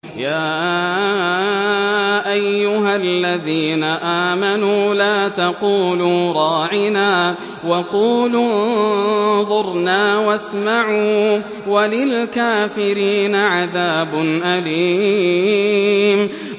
يَا أَيُّهَا الَّذِينَ آمَنُوا لَا تَقُولُوا رَاعِنَا وَقُولُوا انظُرْنَا وَاسْمَعُوا ۗ وَلِلْكَافِرِينَ عَذَابٌ أَلِيمٌ